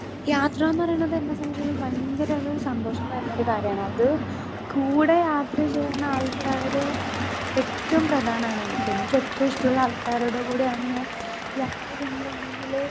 Speaker 2 യാത്രാന്ന് പറീണത് എന്നെ സംബന്ധിച്ചിടത്തോളം ഭയങ്കരൊരു സന്തോഷം തര്ണൊരു കാര്യാണ് അത് കൂടെ യാത്ര ചെയ്യണ ആൾക്കാര് ഏറ്റോം പ്രധാനാണ് എനിക്ക് എനിക്ക് ഏറ്റോം ഇഷ്ടള്ള ആൾക്കാരോടു കൂടെയാണ് ഞാൻ യാത്ര ചെയ്യ്ണതെങ്കില്.